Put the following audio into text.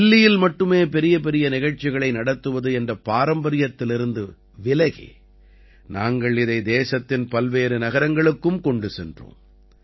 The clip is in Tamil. தில்லியில் மட்டுமே பெரியபெரிய நிகழ்ச்சிகளை நடத்துவது என்ற பாரம்பரியத்திலிருந்து விலகி நாங்கள் இதை தேசத்தின் பல்வேறு நகரங்களுக்கும் கொண்டு சென்றோம்